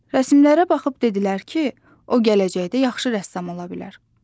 Rəsmlərə baxıb dedilər ki, o gələcəkdə yaxşı rəssam ola bilər.